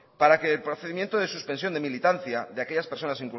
para que el procedimiento se suspensión de militancia de aquellas personas